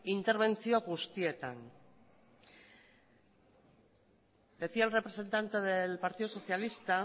interbentzio guztietan decía el representante del partido socialista